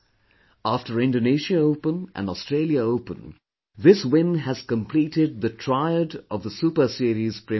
After Indonesia Open and Australia Open, this win has completed the triad of the super series premiere title